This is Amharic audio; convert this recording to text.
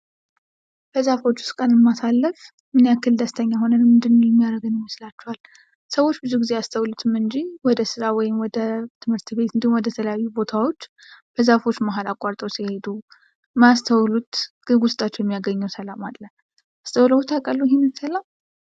በዛፎች ውስጥ ቀንን ማሳለፍ ምን ያክል ደስተኛ ሆነን እንዲኖር የማድረገን ይመስላችኋል? ሰዎች ብዙ ጊዜ አስተውሎትን እንጂ ወደ ሥራ ወይም ወደ ትምህርት ቤት ፤እንዲሁም ወደ ተለያዩ ቦታዎች በዛፎች መሃል አቋርጠው ሲሄዱ የማያስተውሉት ግን ውስጣቸውን የሚይያገኘው ሰላም አለ። አስተውለውት ያውቃሉ ይሄን ሰላም?